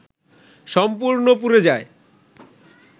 সম্পূর্ণ পুড়ে যায়